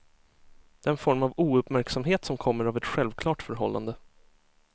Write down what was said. Den form av ouppmärksamhet som kommer av ett självklart förhållande.